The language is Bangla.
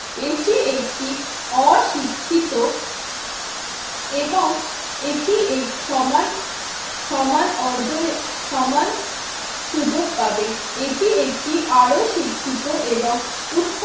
এটি একটি অশিক্ষিত এবং এটি এই সমান সমান অর্জনে সমান সুযোগ পাবে। এটি একটি আরও শিক্ষিত এবং উৎপা